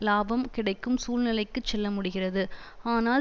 இலாபம் கிடைக்கும் சூழ்நிலைக்கு செல்ல முடிகிறது ஆனால்